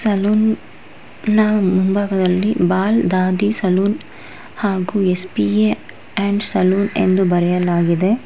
Salon ನ ಮುಂಭಾಗದಲ್ಲಿ ಬಾಲ್ ದಾದಿ ಸಲೂನ್ ಹಾಗು ಎಸ್_ಪಿ_ಎ ಅಂಡ್ ಸಲೂನ್ ಎಂದು ಬರೆಯಲಾಗಿದೆ.